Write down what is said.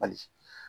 Hali